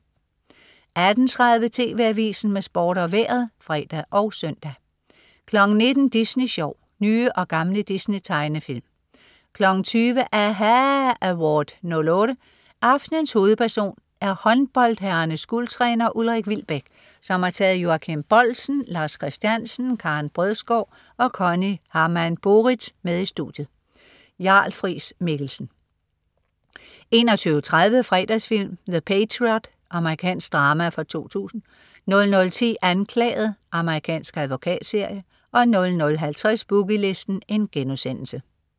18.30 TV Avisen med Sport og Vejret (fre og søn) 19.00 Disney Sjov. Nye og gamle Disney-tegnefilm 20.00 aHA Award '08. Aftenens hovedperson er håndboldherrernes guldtræner Ulrik Wilbek, som har taget Joachim Boldsen, Lars Christiansen, Karen Brødsgaard og Conny Hamann-Boeriths med i studiet. Jarl Friis-Mikkelsen 21.30 Fredagsfilm: The Patriot. Amerikansk drama fra 2000 00.10 Anklaget. Amerikansk advokatserie 00.50 Boogie Listen*